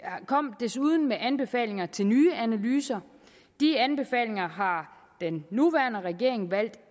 kom desuden med anbefalinger til nye analyser disse anbefalinger har den nuværende regering valgt